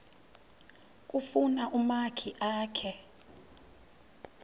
kufuna umakhi akhe